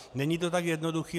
Není to tak jednoduché.